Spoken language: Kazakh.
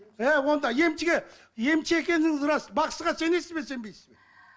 і онда емшіге емші екеніңіз рас бақсыға сенесіз бе сенбейсіз бе